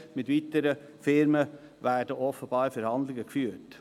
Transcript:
Mit weiteren Unternehmungen werden offenbar Verhandlungen geführt.